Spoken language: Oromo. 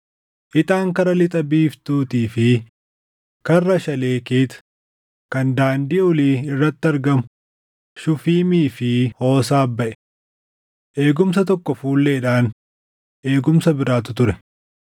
Ixaan Karra Lixa biiftuutii fi Karra Shaleekeet kan daandii olii irratti argamu Shufiimii fi Hoosaaf baʼe. Eegumsa tokko fuulleedhaan eegumsa biraatu ture: